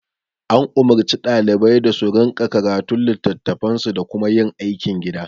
An umurci ɗalibai da su rinƙa karatun litattafansu da kuma yin aikin gida